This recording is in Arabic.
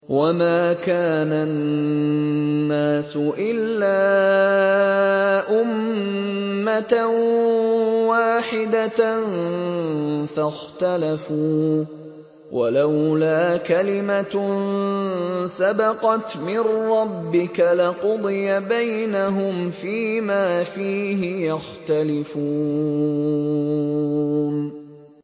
وَمَا كَانَ النَّاسُ إِلَّا أُمَّةً وَاحِدَةً فَاخْتَلَفُوا ۚ وَلَوْلَا كَلِمَةٌ سَبَقَتْ مِن رَّبِّكَ لَقُضِيَ بَيْنَهُمْ فِيمَا فِيهِ يَخْتَلِفُونَ